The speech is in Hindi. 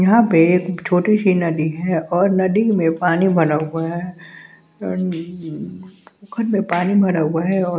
यहाँ पे एक छोटी सी नदी है और नदी में पानी भरा हुआ है ए खन में पानी भरा हुआ है और--